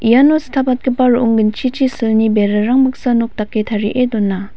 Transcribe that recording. iano stapatgipa ro·ong ginchichi silni berarang baksa nok dake tarie dona.